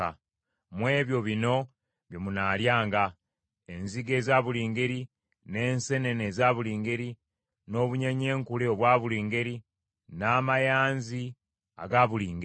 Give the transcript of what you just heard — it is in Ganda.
Mu ebyo bino bye munaalyanga: enzige eza buli ngeri, n’enseenene eza buli ngeri, n’obunyeenyenkule obwa buli ngeri, n’amayanzi aga buli ngeri.